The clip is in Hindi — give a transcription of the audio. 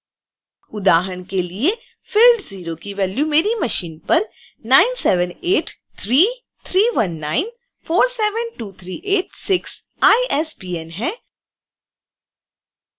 उदाहरण के लिए field 0 की वैल्यू मेरी मशीन पर 9783319472386 isbn है